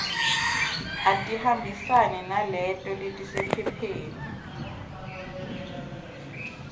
atihambisane naleto letisephepheni